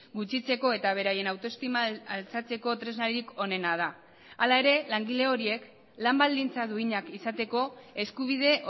gutxitzeko eta beraien autoestima altxatzeko tresnarik onena da hala ere langile horiek lan baldintza duinak izateko eskubide